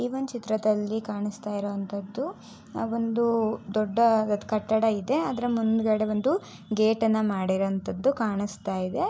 ಈ ಒಂದ ಚಿತ್ರದಲ್ಲಿ ಕಾಣಿಸ್ತಾ ಇರೋವಂತದ್ದು ಒಂದು ದೊಡ್ಡ ಕಟ್ಟಡ ಇದೆ ಅದರ ಮುಂದುಗಡೆ ಒಂದು ಗೇಟ್ ಅನ್ನ ಮಾಡಿರೋಂತದ್ದ ಕಾಣಿಸ್ತಾ ಇದೆ.